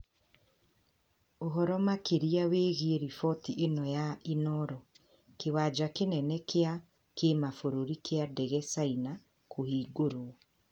Ũhoro makĩria wĩgiĩ riboti ĩno ya Inoro :Kĩwanja kinene gia kĩmabũrũri kia ndege caina kũhingũrũo